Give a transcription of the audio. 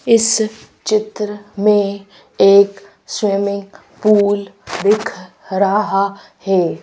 इस चित्र में एक स्विमिंग पूल दिख रहा है।